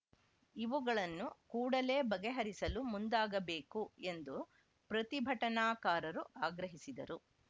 ಇವುಗಳನ್ನು ಕೂಡಲೇ ಬಗೆಹರಿಸಲು ಮುಂದಾಗಬೇಕು ಎಂದು ಪ್ರತಿಭಟನಾಕಾರರು ಆಗ್ರಹಿಸಿದರು